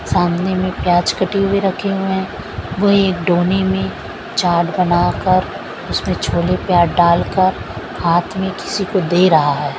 सामने मे प्याज कटी हुए रखे हुए हैं वह एक डोने मे चाट बनाकर उसमें छोले प्याज डालकर हाथ मे किसी को दे रहा है।